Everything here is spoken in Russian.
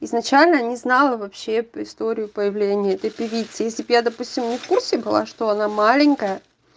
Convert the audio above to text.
изначально не знала вообще историю появления этой певицы если б я допустим не в курсе была что она маленькая